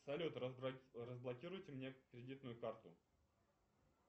салют разблокируйте мне кредитную карту